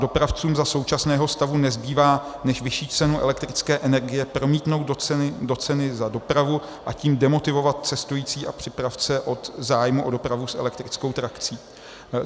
Dopravcům za současného stavu nezbývá, než vyšší cenu elektrické energie promítnout do ceny za dopravu, a tím demotivovat cestující a přepravce od zájmu o dopravy s elektrickou trakcí.